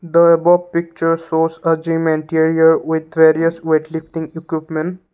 the above picture shows a gym entire with various weightlifting equipment.